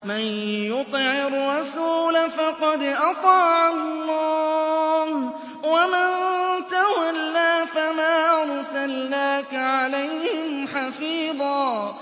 مَّن يُطِعِ الرَّسُولَ فَقَدْ أَطَاعَ اللَّهَ ۖ وَمَن تَوَلَّىٰ فَمَا أَرْسَلْنَاكَ عَلَيْهِمْ حَفِيظًا